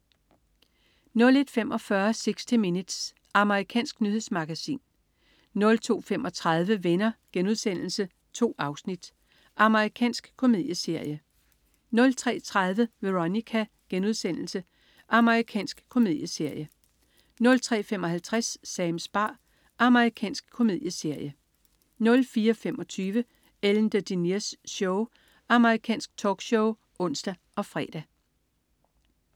01.45 60 Minutes. Amerikansk nyhedsmagasin 02.35 Venner.* 2 afsnit. Amerikansk komedieserie 03.30 Veronica.* Amerikansk komedieserie 03.55 Sams bar. Amerikansk komedieserie 04.25 Ellen DeGeneres Show. Amerikansk talkshow (ons og fre)